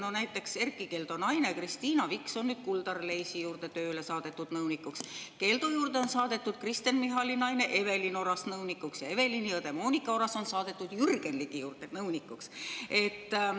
No näiteks Erkki Keldo naine Kristiina Viks on nüüd Kuldar Leisi juurde tööle saadetud nõunikuks, Keldo juurde on saadetud Kristen Michali naine Evelin Oras nõunikuks ja Evelini õde Moonika Oras on saadetud Jürgen Ligi juurde nõunikuks.